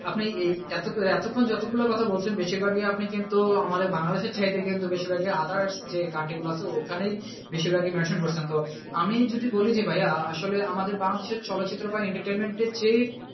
আপনি এই এতক্ষন যতগুলো কথা বলছিলেন বেশিরভাগই আপনি কিন্তু আমাদের বাংলাদশের কিন্তু বেশিরভাগই others যে country গুলো আছে, ওখানেই বেশিরভাই mention করছেন তো আমি যদি বলি যে ভাইয়া আসলে আমাদের বাংলাদেশের চলচ্চিত্র বা entertainment এর যে